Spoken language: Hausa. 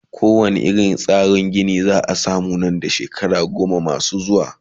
ko wane irin tsarin Gini zaa samu Nan da shekara goma Mai zuwa?